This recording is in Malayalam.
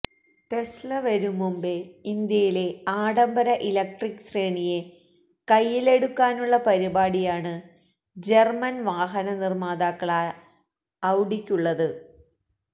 ടെസ്ല വരുംമുമ്പേ ഇന്ത്യയിലെ ആഢംബര ഇലക്ട്രിക് ശ്രേണിയെ കൈയിലെടുക്കാനുള്ള പരിപാടിയാണ് ജർമൻ വാഹന നിർമാതാക്കളായ ഔഡിക്കുള്ളത്